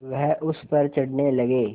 वह उस पर चढ़ने लगे